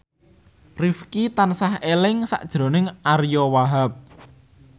Rifqi tansah eling sakjroning Ariyo Wahab